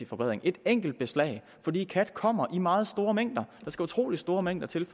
forbedring et enkelt beslag fordi kat kommer i meget store mængder der skal utrolig store mængder til